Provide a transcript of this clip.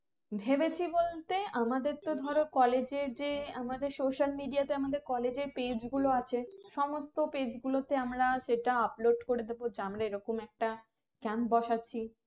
ভেবেছি বলতে আমাদের তো ধরো college এর যে আমাদের Social Media তে আমাদের college এর page গুলো আছে সমস্ত page গুলোতে আমরা সেটা upload করে দেব যে আমরা এরকম একটা camp বসাছি